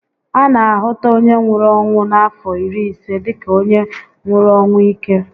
A na a hụta onye nwụrụ ọnwụ n'afọ iri ise dịka onye nwụrụ ọnwụ íke